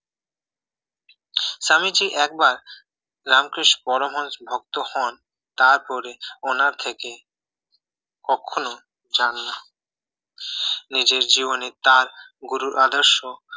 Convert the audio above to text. স্বামীজী একবার রামকৃষ্ণ পরমহংসের ভক্ত হন তারপরে উনার থেকে কখনোই চাননা নিজের জীবনে তার গুরুর আদেশ ও